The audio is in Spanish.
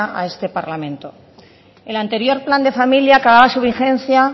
a este parlamento el anterior plan de familia acababa su vigencia